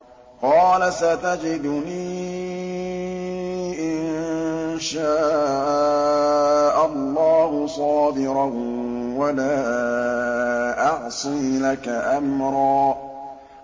قَالَ سَتَجِدُنِي إِن شَاءَ اللَّهُ صَابِرًا وَلَا أَعْصِي لَكَ أَمْرًا